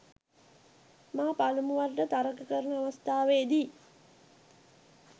මා පළමුවරට තරග කරන අවස්ථාවේදී